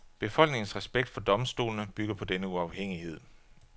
Befolkningens respekt for domstolene bygger på denne uafhængighed.